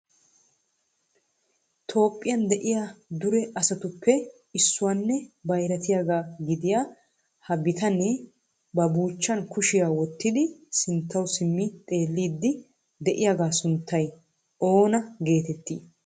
Toophiyan de'iyaa dure asatuppe issuwanne bayratiyaaga gidiya ha bitanee ba buuchchan kushiyaa wottidi sinttaw simmi xeelliidi de'iyaaga sunttay oona getetti?